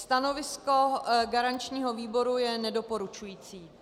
Stanovisko garančního výboru je nedoporučující.